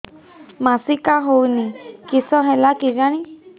ମାସିକା ହଉନି କିଶ ହେଲା କେଜାଣି